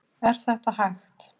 Er þetta hægt?